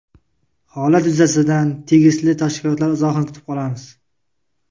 Holat yuzasidan tegishli tashkilotlar izohini kutib qolamiz.